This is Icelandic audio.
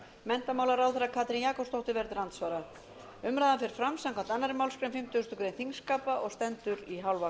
menntamálaráðherra katrín jakobsdóttir verður til andsvara umræðan fer fram samkvæmt annarri málsgrein fimmtugustu grein þingskapa og stendur í hálfa